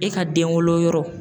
E ka denwoloyɔrɔ